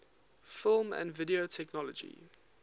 film and video technology